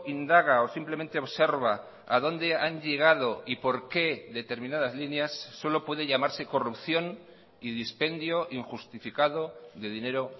indaga o simplemente observa a donde han llegado y por qué determinadas líneas solo puede llamarse corrupción y dispendio injustificado de dinero